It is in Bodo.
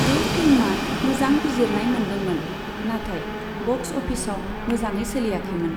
बे फिल्मआ मोजां बिजिरनाय मोनदोंमोन, नाथाय बक्स अफिसाव मोजाङै सोलियाखैमोन।